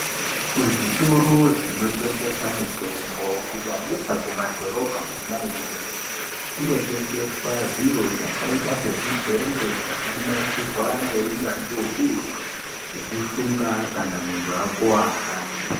Kuzvitoro zvinotengesa mitombo kunyanyisa kumadhorobha Kona iyoyo kunotengeswa zviro zvakaita sezvidhende zvakanasirwa ngeunyanzvi ukurutu zvekusunga kana muntu akuwara.